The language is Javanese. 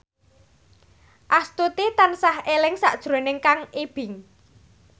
Astuti tansah eling sakjroning Kang Ibing